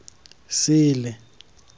sele